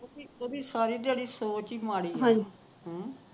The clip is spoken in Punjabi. ਸਾਰੀ ਦਿਹਾੜੀ ਸੋਚ ਹੀ ਮਾੜੀ ਹੈ